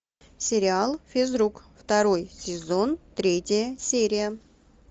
сериал физрук второй сезон третья серия